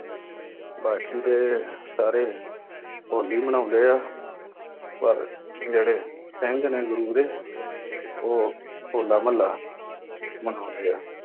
ਬਾਕੀ ਤੇ ਸਾਰੇ ਹੋਲੀ ਮਨਾਉਂਦੇ ਆਂ, ਪਰ ਜਿਹੜੇ ਸਿੰਘ ਨੇ ਗੁਰੂ ਦੇ ਉਹ ਹੋਲਾ ਮਹੱਲਾ ਮਨਾਉਂਦੇ ਆ।